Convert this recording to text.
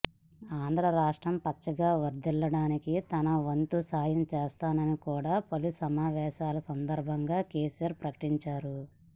ఆంధ్ర రాష్ట్రం పచ్చగా వర్ధిల్లడానికి తన వంతు సాయం చేస్తానని కూడా పలు సమావేశాల సందర్భంగా కేసీఆర్ ప్రకటించారు